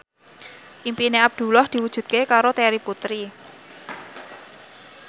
impine Abdullah diwujudke karo Terry Putri